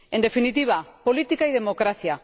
En definitiva política y democracia.